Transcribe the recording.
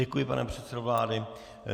Děkuji, pane předsedo vlády.